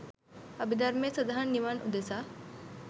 අභිධර්මයේ සදහන් නිවන් උදෙසා